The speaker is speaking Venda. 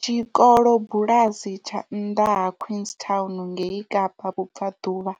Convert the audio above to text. Tshikolobulasi tsha nnḓa ha Queenstown ngei Kapa vhubvaḓuvha,